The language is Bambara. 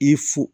I fo